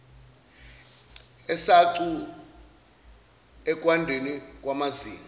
esacu ekwandeni kwamazinga